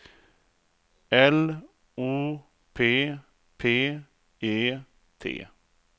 L O P P E T